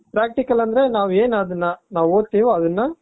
practical ಅಂದ್ರೆ ನಾವು ಏನ್ ಅದನ್ನ ನಾವು ಓದ್ತಿವಿ ಅದನ್ನ